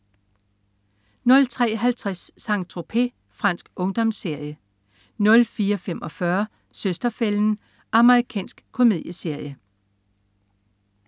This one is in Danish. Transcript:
03.50 Saint-Tropez. Fransk ungdomsserie 04.45 Søster-fælden. Amerikansk komedieserie